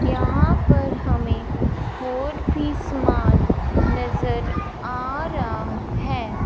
यहां पर हमें और भी समान नजर आ रहा हैं।